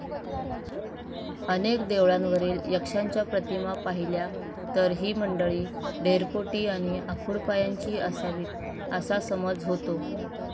अनेक देवळांवरील यक्षांच्या प्रतिमा पहिल्या तर, ही मंडली ढेरपोटी आणि आखूडपायांची असावीत, असा समज होतो.